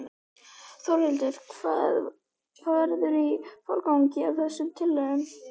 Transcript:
Þórhildur: Hvað verður í forgangi af þessum tillögum?